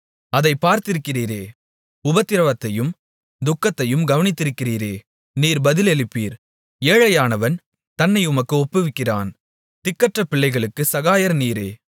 அதைப் பார்த்திருக்கிறீரே உபத்திரவத்தையும் துக்கத்தையும் கவனித்திருக்கிறீரே நீர் பதிலளிப்பீர் ஏழையானவன் தன்னை உமக்கு ஒப்புவிக்கிறான் திக்கற்ற பிள்ளைகளுக்குச் சகாயர் நீரே